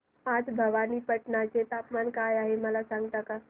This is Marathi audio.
आज भवानीपटना चे तापमान काय आहे मला सांगता का